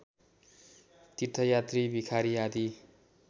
तिर्थयात्री भिखारी आदि